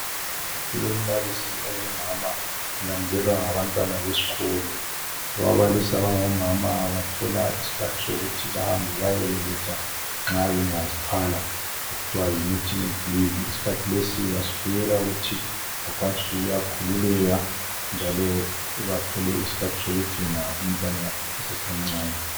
Kulombalisi ongumama ulandelwa ngabantwana besikolo ababalisi abangomama bathola iskhathi sokuthi bahambe bayebeletha nxa bengazithwala okuthiwa yi maternity leave isikhathi lesi basibuyela ukuthi bakwanise ukuyakhululeka njalo bathole isikhathi sokugcina umntwana esasemncane.